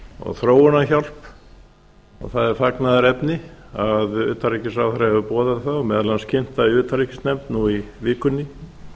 og þróunarhjálp og það er fagnaðarefni að utanríkisráðherra hefur boðað það og meðal annars kynnt það í utanríkisnefnd nú í vikunni